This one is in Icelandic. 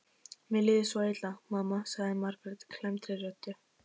Mér líður svo illa, mamma, sagði Margrét klemmdri röddu.